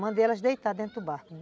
Mandei elas deitarem dentro do barco.